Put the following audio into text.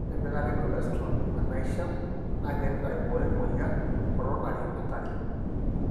ore empikata e cholosterol enaisha na keret aiboyo emoyian e coronary artery.